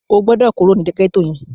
O gbọ́dọ̀ kúrò ní gẹ́tò yẹn!